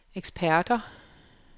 eksperter